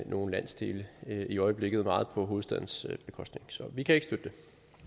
nogle landsdele i øjeblikket meget på hovedstadens bekostning så vi kan ikke støtte det